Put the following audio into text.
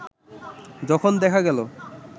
যখন দেখা গেল